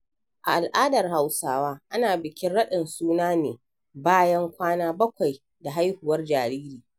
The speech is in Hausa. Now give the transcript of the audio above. A al'adar Hausawa ana bikin raɗin suna ne bayan kwana bakwai da haihuwar jariri.